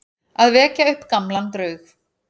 Að vekja upp gamlan draug